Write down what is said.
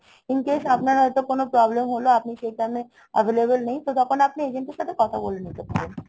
in case আপনার হয়তো কোনো problem হলো আপনি সেই time এ available নেই, তো তখন আপনি agent এর সাথে কথা বলে নিতে পারেন।